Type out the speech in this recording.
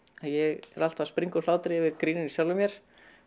ég er alltaf að springa úr hlátri yfir gríninu í sjálfum mér